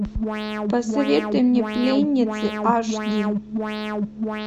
посоветуй мне пленницы аш ди